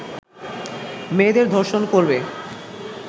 মেয়েদের ধর্ষণ করবে